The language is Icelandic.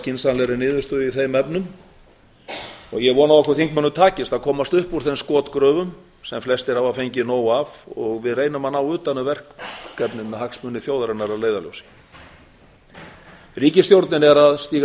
skynsamlegastri niðurstöðu í þeim efnum og ég vona að okkur þingmönnum takist að komast upp úr þeim skotgröfum sem flestir hafa fengið nóg af og við reynum að ná utan um verkefnin með hagsmuni þjóðarinnar að leiðarljósi ríkisstjórnin er að stíga